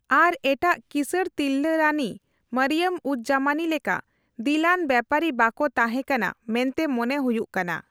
ᱟᱨ ᱮᱴᱟᱜ ᱠᱤᱥᱟᱹᱬ ᱛᱤᱨᱞᱟᱹ ᱨᱟᱱᱤ ᱢᱚᱨᱤᱭᱚᱢᱼᱩᱡᱼᱡᱟᱢᱟᱱᱤ ᱞᱮᱠᱟ ᱫᱤᱞᱼᱟᱱ ᱵᱮᱯᱟᱨᱤ ᱵᱟᱠᱚ ᱛᱟᱸᱦᱮ ᱠᱟᱱᱟ ᱢᱮᱱᱛᱮ ᱢᱚᱱᱮ ᱦᱩᱭᱩᱜ ᱠᱟᱱᱟ ᱾